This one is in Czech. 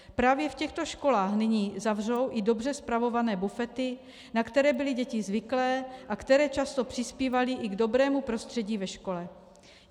Právě v těchto školách nyní zavřou i dobře spravované bufety, na které byly děti zvyklé a které často přispívaly i k dobrému prostředí ve škole.